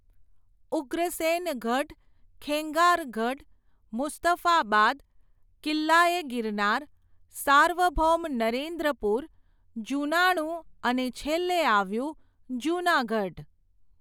ઉગ્રસેન ગઢ, ખેંગાર ગઢ, મુસ્તફાબાદ, કિલ્લા એ ગિરનાર, સાર્વભૌમ નરેન્દ્રપુર, જૂનાણું અને છેલ્લે આવ્યું જૂનાગઢ.